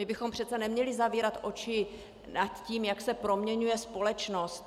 My bychom přece neměli zavírat oči před tím, jak se proměňuje společnost.